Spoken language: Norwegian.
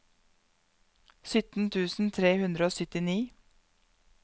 sytten tusen tre hundre og syttini